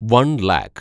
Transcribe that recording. one lakh